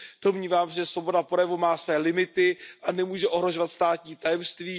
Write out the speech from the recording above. Domnívám se, že svoboda projevu má své limity a nemůže ohrožovat státní tajemství.